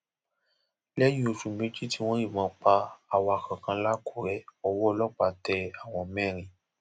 lẹyìn oṣù méjì tí wọn yìnbọn pa awakọ kan làkùrẹ owó ọlọpàá tẹ àwọn mẹrin